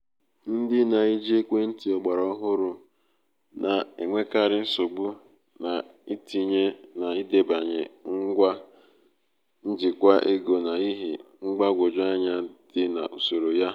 ndị na-eji ekwentị ogbara ohụrụ na-enwekarị nsogbu n’itinye na idebanye ngwa njikwa ego n’ihi mgbagwoju anya dị na usoro ya.